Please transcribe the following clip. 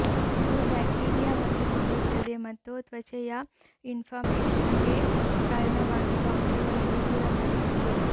ಇದು ಬ್ಯಾಕ್ಟೀರಿಯಾವನ್ನು ಕೊಲ್ಲುತ್ತದೆ ಮತ್ತು ತ್ವಚೆಯ ಇನ್ಫ್ಲಾಮೇಶನ್ಗೆ ಕಾರಣವಾಗಿರುವ ಅಂಶಗಳನ್ನು ದೂರ ಮಾಡುತ್ತದೆ